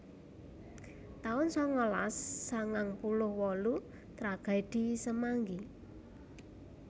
taun sangalas sangang puluh wolu Tragedi Semanggi